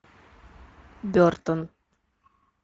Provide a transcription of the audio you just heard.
бертон